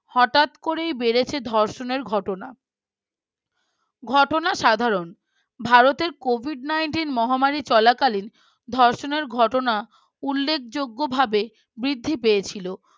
হঠাৎ করেই বেড়েছে ধর্ষণের ঘটনা ঘটনা সাধারণ ভারতের Covid nineteen মহামারী চলাকালীন ধর্ষণের ঘটনা উল্লেখযোগ্যভাবে বৃদ্ধি পেয়েছিল